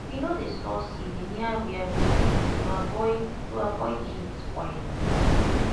we no dey store seed near where we cook to avoid to avoid heat spoil am